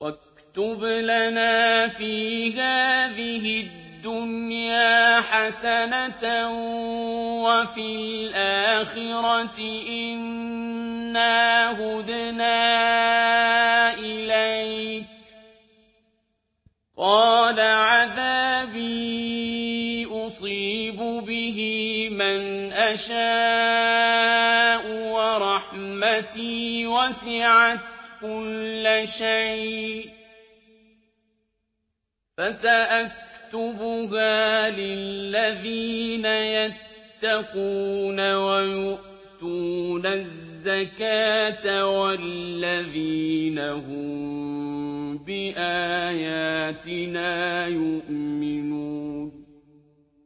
۞ وَاكْتُبْ لَنَا فِي هَٰذِهِ الدُّنْيَا حَسَنَةً وَفِي الْآخِرَةِ إِنَّا هُدْنَا إِلَيْكَ ۚ قَالَ عَذَابِي أُصِيبُ بِهِ مَنْ أَشَاءُ ۖ وَرَحْمَتِي وَسِعَتْ كُلَّ شَيْءٍ ۚ فَسَأَكْتُبُهَا لِلَّذِينَ يَتَّقُونَ وَيُؤْتُونَ الزَّكَاةَ وَالَّذِينَ هُم بِآيَاتِنَا يُؤْمِنُونَ